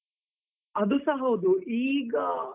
ಅದುಸ ಹೌದು, ಈಗ.